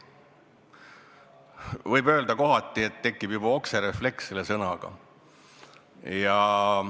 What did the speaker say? Võib öelda, et kohati tekib juba okserefleks seda sõna kuuldes.